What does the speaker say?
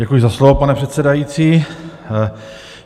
Děkuji za slovo, pane předsedající.